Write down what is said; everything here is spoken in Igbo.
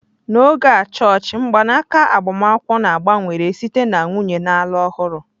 N'oge a chọọchị mgbanaka agbamakwụkwọ na-gbanwere site na nwunye na-alụ ọhụrụ.